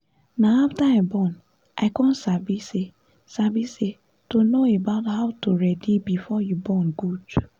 na after i born i con sabi say sabi say to know about how to ready before you born good